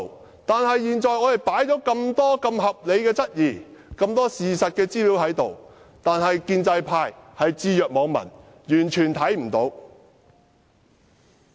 可惜的是，雖然我們提出那麼多合理質疑及事實資料，建制派卻置若罔聞，視若無睹。